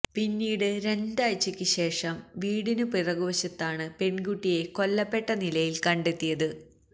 പിന്നീട് രണ്ടാഴ്ചയ്ക്ക് ശേഷം വീടിന് പിറകുവശത്താണ് പെൺകുട്ടിയെ കൊല്ലപ്പെട്ടനിലയിൽ കണ്ടെത്തിയത്